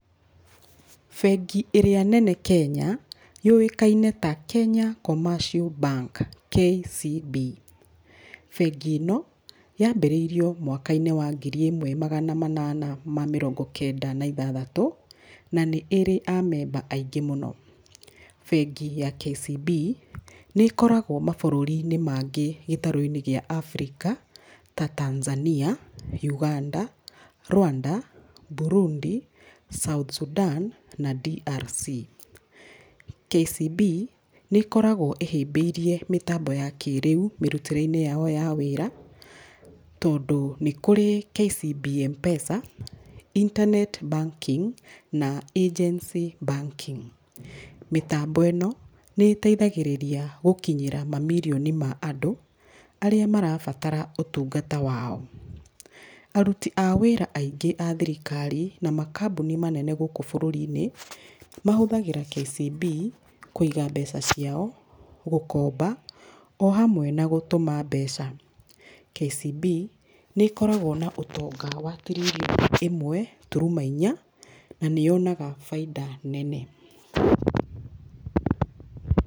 Bengi ĩrĩa nene Kenya yũĩkaine ta Kenya Commercial Bank KCB .Bengi ĩno yambĩrĩirio mwakainĩ wa ngiri ĩmwe magana manana ma mĩrongo kenda na ithathatũ na nĩ ĩrĩ a memba aingĩ mũno. Bengi ya KCB nĩkoragwo mabũrũriinĩ mangĩ gĩtarũinĩ gĩa Africa ta Tanzania, Uganda, Rwanda, Burundi South Sudan na DRC.KCB nĩ ĩkoragwo ĩhĩbĩirie mibango ya kĩrĩu mĩrutĩrĩinĩ yao ya wĩra tondũ nĩ kũrĩ KCB Mpesa, internet Banking na Agency Banking. Mĩtambo ĩno nĩ ĩteithagĩrĩria gũkinyĩra mamirioni ma andũ arĩa marabatara ũtungata wao. Aruti a wĩra aingĩ a thirikari na makambuni manene gũkũ bũrũriinĩ mahũthagĩra KCB kũiga mbeca ciao gũkoba o hamwe na gũtũma mbeca, KCB nĩ ĩkoragwo na ũtonga wa tiririoni ĩmwe turuma inya na nĩyonaga baita nene.